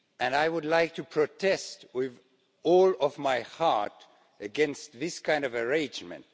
I would like to protest with all my heart against this kind of arrangement.